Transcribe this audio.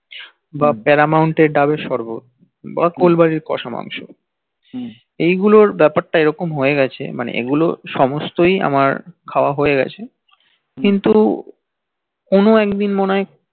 বা paramount এর ডাবের সরবত বা কল্বারির কসা মাংস এগুল এর বাপার এইরকম হয়ে গিএছল এগুল সমস্তই আমার খওয়া হয়ে গেছে কিন্তু কোন একদিন মনে